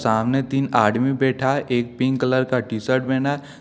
सामने तीन आदमी बैठा है एक पिंक कलर का टी सर्ट पहना है।